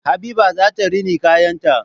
Habiba zata rina kayan ta